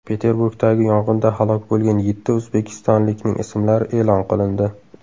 Peterburgdagi yong‘inda halok bo‘lgan yetti o‘zbekistonlikning ismlari e’lon qilindi.